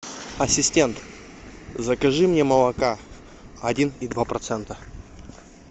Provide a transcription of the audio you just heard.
ассистент закажи мне молока один и два процента